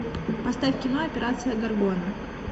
поставь кино операция горгона